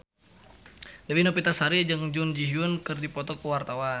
Dewi Novitasari jeung Jun Ji Hyun keur dipoto ku wartawan